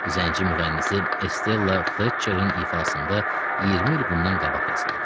Zənci müğənnisi Estella Fletcherin ifasında 20 il bundan qabaq yazılıb.